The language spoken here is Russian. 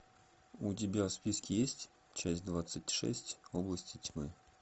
у тебя в списке есть часть двадцать шесть области тьмы